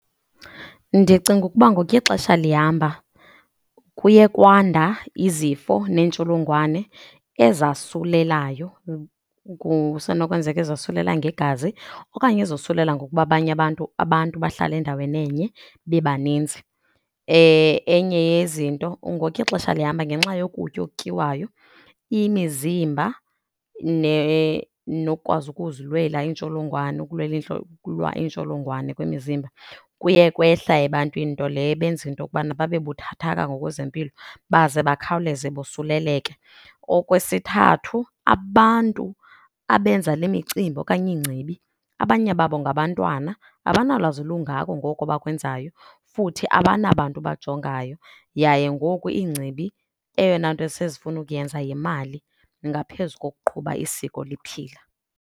Ndicinga ukuba ngokuya ixesha lihamba kuye kwanda izifo neentsholongwane ezasulelayo, kusenokwenzeka ezosulela ngegazi okanye ezosulela ngokuba abanye abantu, abantu bahlala endaweni enye bebaninzi. Enye yezinto, ngokuya ixesha lihamba ngenxa yokutya okutyiwayo, imizimba nokukwazi ukuzilwela iintsholongwane, ukulwela ukulwa iintsholongwane kwemizimba kuye kwehla ebantwini nto leyo ebenza into yokubana babe buthathaka ngokwezempilo baze bakhawuleze bosuleleke. Okwesithathu, abantu abenza le micimbi okanye iingcibi abanye babo ngabantwana, abanalwazi lungako ngoko bakwenzayo, futhi abanabantu bajongayo, yaye ngoku iingcibi eyona nto esezifuna ukuyenza yimali ngaphezu kokuqhuba isiko liphila.